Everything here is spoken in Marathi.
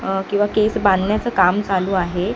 किंवा केस बांधण्याचं काम चालू आहे.